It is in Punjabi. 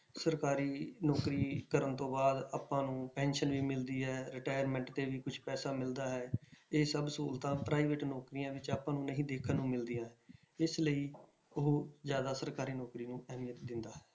ਸਰਕਾਰੀ ਨੌਕਰੀ ਕਰਨ ਤੋਂ ਬਾਅਦ ਆਪਾਂ ਨੂੰ pension ਵੀ ਮਿਲਦੀ ਹੈ retirement ਤੇ ਵੀ ਕੁਛ ਪੈਸਾ ਮਿਲਦਾ ਹੈ ਇਹ ਸਭ ਸਹੂਲਤਾਂ private ਨੌਕਰੀਆਂ ਵਿੱਚ ਆਪਾਂ ਨੂੰ ਨਹੀਂ ਦੇਖਣ ਨੂੰ ਮਿਲਦੀਆਂ, ਇਸ ਲਈ ਉਹ ਜ਼ਿਆਦਾ ਸਰਕਾਰੀ ਨੌਕਰੀ ਨੂੰ ਅਹਿਮੀਅਤ ਦਿੰਦਾ ਹੈ।